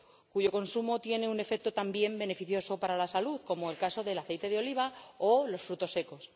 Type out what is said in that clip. cuyo consumo tiene un efecto también beneficioso para la salud, como es el caso del aceite de oliva o de los frutos secos.